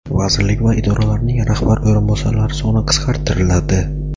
Vazirlik va idoralarning rahbar o‘rinbosarlari soni qisqartiriladi.